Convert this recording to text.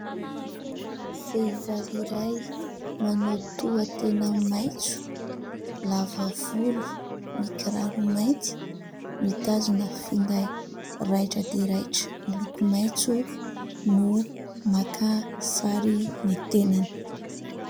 Vehivavy iray : manao tohatena maitso, lavavolo, mikiraro mainty, mitazona finday raitra dia raitra miloko maitso no maka sary ny tenany.